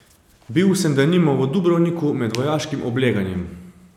Bil sem denimo v Dubrovniku med vojaškim obleganjem.